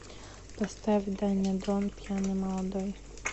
поставь даня дон пьяный молодой